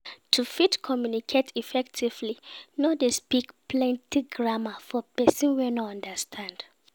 To fit communicate effectively no de speak plenty grammar for persin wey no understand